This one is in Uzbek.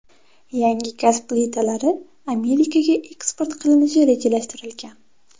Yangi gaz plitalari Amerikaga eksport qilinishi rejalashtirilgan.